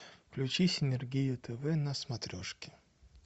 включи синергия тв на смотрешке